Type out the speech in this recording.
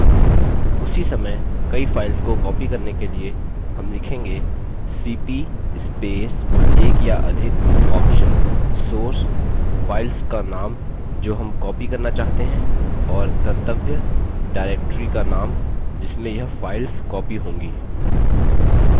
उसी समय कई files को copy करने के लिए हम लिखेंगेcp space एक या अधिक option source files का नाम जो हम copy करना चाहते हैं और गंतव्य directory का नाम जिसमें यह files copy होंगी